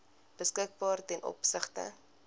beskikbaar ten opsigte